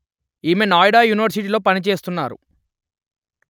ఈమె నోయిడా యూనివర్సిటీలో పనిచేస్తున్నారు